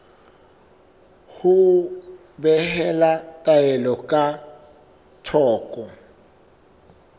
ho behela taelo ka thoko